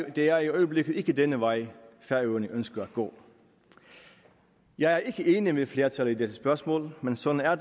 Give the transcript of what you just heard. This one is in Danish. det er i øjeblikket ikke denne vej færøerne ønsker at gå jeg er ikke enig med flertallet i dette spørgsmål men sådan er